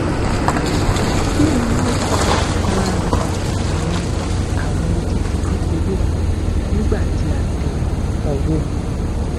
kini o fa ifarahan awọn awọn odidi kekere nigbati a tẹ ọwọ